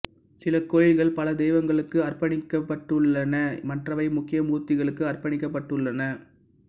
சில கோயில்கள் பல தெய்வங்களுக்கு அர்ப்பணிக்கப்பட்டுள்ளன மற்றவை முக்கிய மூர்த்திகளுக்கு அர்ப்பணிக்கப்பட்டுள்ளன